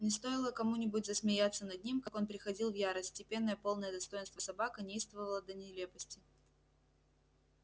но стоило кому нибудь засмеяться над ним как он приходил в ярость степенная полная достоинства собака неистовствовала до нелепости